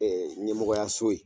Ɛɛ ɲɛmɔgɔyaso ye.